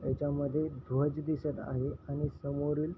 ह्याच्या यामध्ये ध्वज दिसत आहे आणि समोरील--